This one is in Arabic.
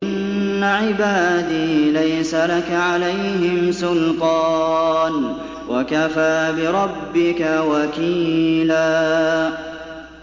إِنَّ عِبَادِي لَيْسَ لَكَ عَلَيْهِمْ سُلْطَانٌ ۚ وَكَفَىٰ بِرَبِّكَ وَكِيلًا